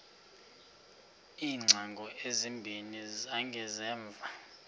iingcango ezimbini zangasemva